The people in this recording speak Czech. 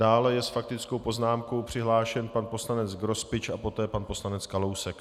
Dále je s faktickou poznámkou přihlášen pan poslanec Grospič a poté pan poslanec Kalousek.